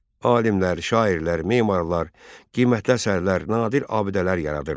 Alimlər, şairlər, memarlar, qiymətli əsərlər, nadir abidələr yaradırdılar.